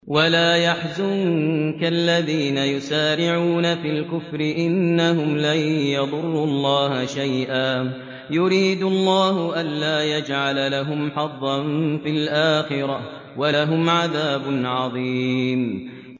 وَلَا يَحْزُنكَ الَّذِينَ يُسَارِعُونَ فِي الْكُفْرِ ۚ إِنَّهُمْ لَن يَضُرُّوا اللَّهَ شَيْئًا ۗ يُرِيدُ اللَّهُ أَلَّا يَجْعَلَ لَهُمْ حَظًّا فِي الْآخِرَةِ ۖ وَلَهُمْ عَذَابٌ عَظِيمٌ